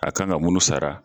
A kan ka mun sara.